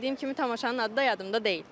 Dediyim kimi tamaşanın adı da yadımda deyil.